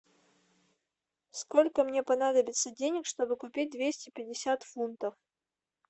сколько мне понадобится денег чтобы купить двести пятьдесят фунтов